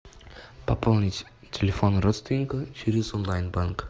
пополнить телефон родственника через онлайн банк